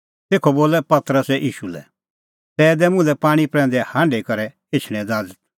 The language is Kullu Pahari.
तेखअ बोलअ पतरसै ईशू लै प्रभू ज़ै तूह ई आसा तै दै मुल्है पाणीं प्रैंदै हांढी करै एछणें ज़ाज़त